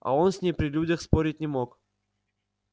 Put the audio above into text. а он с ней при людях спорить не мог